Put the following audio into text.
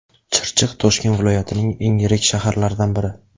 Chirchiq – Toshkent viloyatining eng yirik shaharlaridan biri.